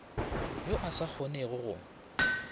yo a sa kgonego go